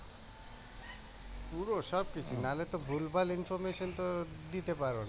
পুরো সবকিছু না হলে তো ভুলভাল তো দিতে পারো না